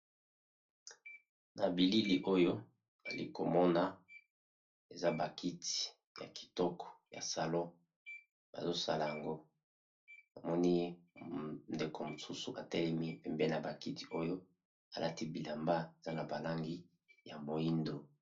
Na bilili oyo alikomona eza ba kiti ya kitoko ya salon bazosala yango namoni ndeko mosusu atelemi pembeni ya ba kiti oyo alati bilamba eza na ba langi ya moyindo.